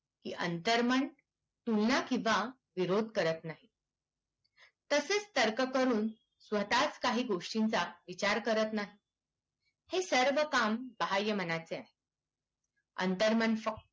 की अंतर्मन तुलना किवा विरोध करत नाही तसेच तर्क करून स्वतच काही गोस्टींचा विचार करत नाही हे सर्व काम बाह्य मनाचे आहे अंतर्मन